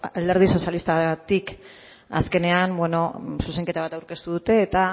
alderdi sozialistatik azkenean zuzenketa aurkeztu dute eta